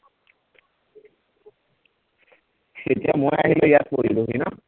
এতিয়া মই আহিলে ইয়াত পৰিলোহি ন